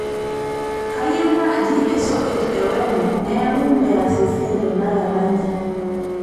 kayieu naaji esoket e wemo neeku meas esiai tenakata nji